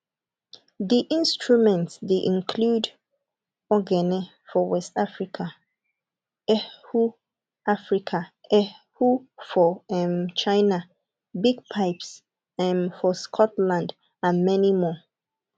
di instrument dey include ogene for west africa erhu africa erhu for um china bagpipes um for scotland and many more